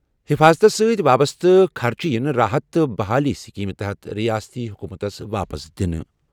حِفاظتس سۭتۍ وابسطہٕ خرچہٕ یِنہٕ راحت تہٕ بحالی یِن اسکیمہِ تحت رِیٲستی حکوٗمتَس واپس دِنہٕ